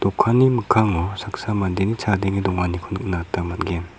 mikkango saksa mandeni chadenge donganiko nikna gita man·gen.